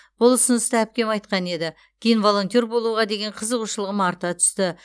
бұл ұсынысты әпкем айтқан еді кейін волонтер болуға деген қызығушылығым арта түсті